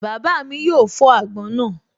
Bàbá mi yóò fọ́ àgbọn náà